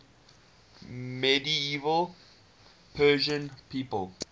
medieval persian people